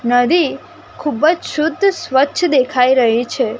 નદી ખુબજ શુદ્ધ સ્વચ્છ દેખાઈ રહી છે.